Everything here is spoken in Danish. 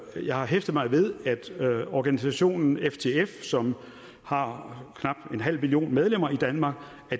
jeg har hæftet mig ved at organisationen ftf som har knap en halv million medlemmer i danmark